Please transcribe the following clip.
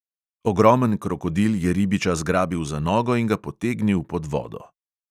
Ogromen krokodil je ribiča zgrabil za nogo in ga potegnil pod vodo.